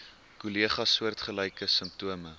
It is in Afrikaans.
kollegas soortgelyke simptome